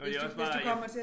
Det jo også bare jeg